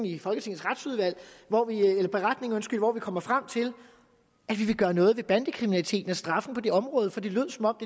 i folketingets retsudvalg hvor vi kommer frem til at vi vil gøre noget ved bandekriminaliteten og straffen på det område for det lød som om